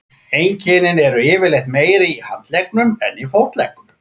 Einkennin eru yfirleitt meiri í handleggnum en fótleggnum.